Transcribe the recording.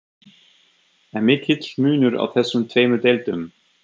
Er mikill munur á þessum tveimur deildum?